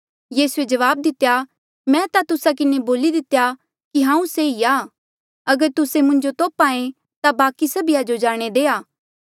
यीसूए जवाब दितेया मैं ता तुस्सा किन्हें बोली दितेया कि हांऊँ से ई आ अगर तुस्से मुंजो तोप्हा ऐें ता बाकी सभिया जो जाणे देआ